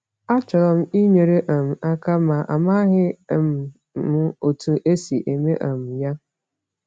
“Achọrọ m inyere um aka, ma amaghị um m otú e si eme um ya.”